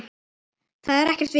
Það er ekkert vitað.